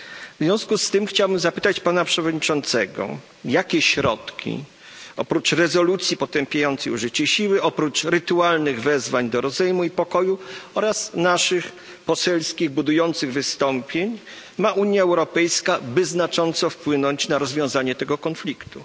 W związku z tym chciałbym zapytać pana przewodniczącego, jakimi środkami oprócz rezolucji potępiającej użycie siły, oprócz rytualnych wezwań do rozejmu i pokoju oraz naszych poselskich budujących wystąpień dysponuje Unia Europejska, by znacząco wpłynąć na rozwiązanie tego konfliktu?